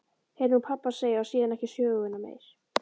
heyrði hún pabba segja og síðan ekki söguna meir.